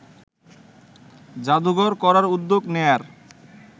জাদুঘর করার উদ্যোগ নেয়ার